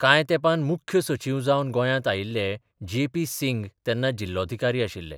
कांय तेंपान मुख्य सचीव जावन गोंयांत आयिल्ले जे पी सिंग तेन्ना जिल्लोधिकारी आशिल्ले.